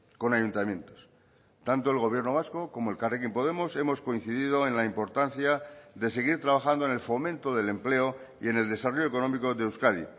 con ayuntamientos tanto el gobierno vasco como elkarrekin podemos hemos coincidido en la importancia de seguir trabajando en el fomento del empleo y en el desarrollo económico de euskadi